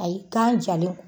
Ayi, kan jalen